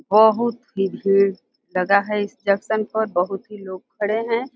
बहोत ही भीड़ लगा है इस जंक्शन पर बहोत ही लोग खड़े हैं।